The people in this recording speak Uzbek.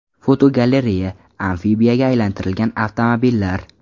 Fotogalereya: Amfibiyaga aylantirilgan avtomobillar.